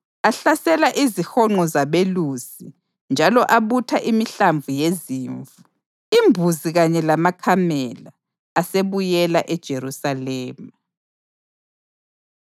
Ahlasela izihonqo zabelusi njalo abutha imihlambi yezimvu, imbuzi kanye lamakamela. Asebuyela eJerusalema.